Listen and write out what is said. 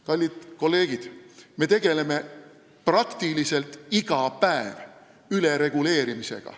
Kallid kolleegid, me tegeleme enam-vähem iga päev ülereguleerimisega.